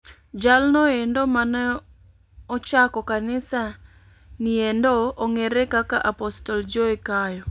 Jalnoendo mane ochako kanisa niendo ong'ere kaka Apostle Joe Kayo.